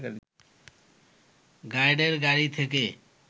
গার্ডের গাড়ি থেকে